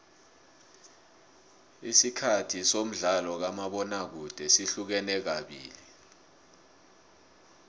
isikhathi somdlalo kamabona kude sihlukene kabili